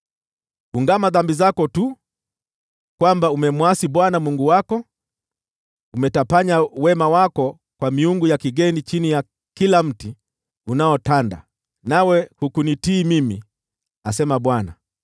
Ungama dhambi zako tu: kwamba umemwasi Bwana Mungu wako, umetapanya wema wako kwa miungu ya kigeni chini ya kila mti unaotanda, nawe hukunitii mimi,’ ” asema Bwana .